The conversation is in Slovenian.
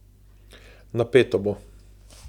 Napeto bo.